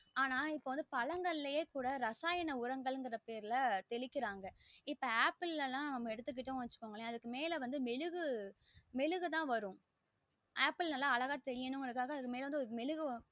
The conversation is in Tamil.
ஆனா இப்போ வந்து பழங்களே குட ரசாயன உரங்கள்ங்கிற பேருல தெளிக்கிராங்க இப்போ ஆப்பிள் லாம் எடுத்திகிட்டிங்கனா அதுக்கு மேல மெழுகு த மெழுகு தா வரும் ஆப்பிள் நல்ல அழகா தெரியனும் காக அதுக்கு மேல மெழுகு